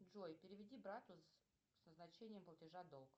джой переведи брату со значением платежа долг